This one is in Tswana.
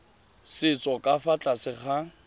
setso ka fa tlase ga